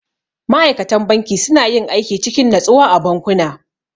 Ma'aikatan banki suna yin aiki cikin natsuwa a bankuna.